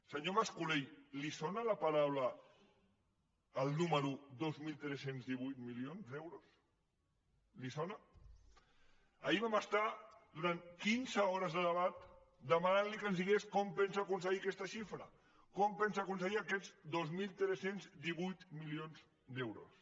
senyor mas colell li sona el número dos mil tres cents i divuit milions d’euros li sona ahir vam estar durant quinze hores de debat demanant li que ens digués com pensa aconseguir aquesta xifra com pensa aconseguir aquests dos mil tres cents i divuit milions d’euros